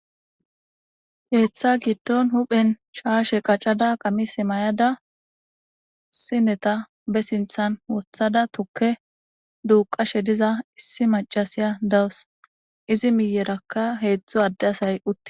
Keeththa gidon hophen shashe qacada qamise mayada sineta ba sintan wotada tuke duqashe diza issi maccasiya deawsu izi miyeraka heedzdzu adde asay utti.